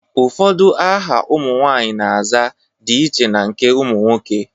Ụfọdụ aha ụmụ nwaanyị na-aza dị iche na nke ụmụ nwoke.